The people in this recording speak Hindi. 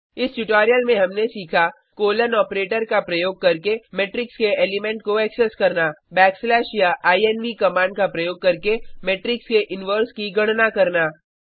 इस ट्यूटोरियल में हमने सीखा कोलन ऑपरेटर का प्रयोग करके मेट्रिक्स के एलीमेंट को एक्सेस करना बैकस्लैश या इन्व कमांड का प्रयोग करके मेट्रिक्स के इनवर्स की गणना करना